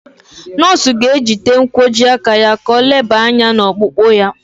Nọọsụ ga-ejide nkwojiaka ya ka o leba anya n'ọkpụkpụ ya.